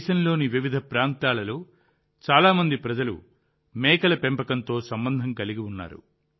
దేశంలోని వివిధ ప్రాంతాలలో చాలా మంది ప్రజలు మేకల పెంపకంతో సంబంధం కలిగి ఉన్నారు